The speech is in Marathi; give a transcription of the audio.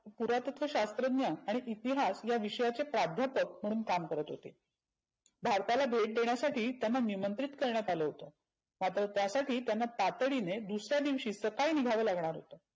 पुरातत्व शास्त्रज्ञ आणि इतिहास या विषयांचे प्राध्यापक म्हणून काम करत होते. भारताला भेट देण्यासाठी त्यांना निमंत्रीत करण्यात आलं होतं. मात्र त्यासाठी त्यांना तातडीने दुसऱ्या दिवशी सकाळी निघाव लागणार होतं.